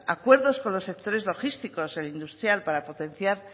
acuerdos con los sectores logísticos el industrial para potenciar